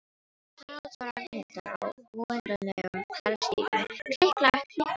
Haralds og Ragnhildar á óendanlegum garðstígnum, klikk-klakk, klikk-klakk.